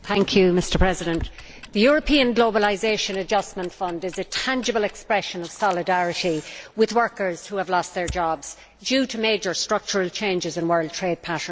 Mr President, the European Globalisation Adjustment Fund is a tangible expression of solidarity with workers who have lost their jobs due to major structural changes in world trade patterns.